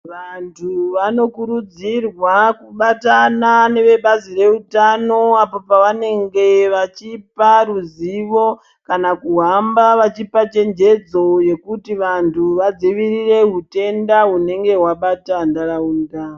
Vanthu vanokurudzirwa kubatana nevebazi reutano apo pavanenge veipe ruzivo kana kuhamba vachipa chenjedzo yekuti vanthu vadzivirire utenda hunenge hwabata ntharaunda.